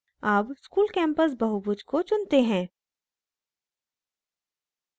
अब school campus बहुभुज को चुनते हैं